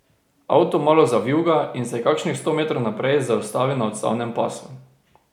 Avto malo zavijuga in se kakšnih sto metrov naprej zaustavi na odstavnem pasu.